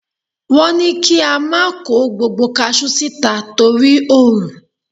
Wọ́n ní kí a má kó gbogbo kasú síta torí òrun.